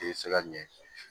I bɛ se ka ɲɛ